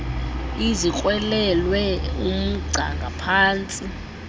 ezikrwelelwe umgca ngaphantsi